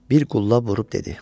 Bir qulla vurub dedi: